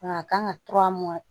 Nka a kan ka tura mun